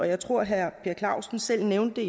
jeg tror at herre per clausen selv nævnte